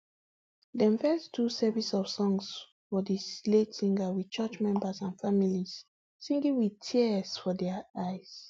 dem first do service of songs for di late singer wit church member and families singing wit tears for dia eyes